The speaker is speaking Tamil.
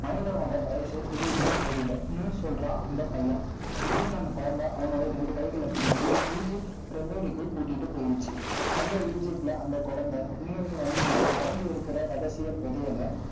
மனிதனோட வயசு தெரியுதுன்னு தெரியலே. இன்னும் சொல்றான், அந்த பையன். திடீர்ன்னு அந்த குழந்தை, அவனோட ரெண்டு கைகளை பிடிச்சு egypt pyramid கூட்டிட்டு போயிடுச்சு. அந்த egypt ல அந்த குழந்தை, வண்டியில மறைஞ்சு இருக்கிற, ரகசிய புதையலை